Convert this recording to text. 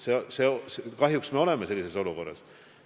Kahjuks me oleme sellises olukorras.